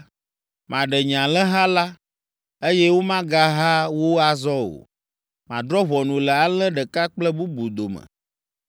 maɖe nye alẽha la, eye womagaha wo azɔ o. Madrɔ̃ ʋɔnu le alẽ ɖeka kple bubu dome.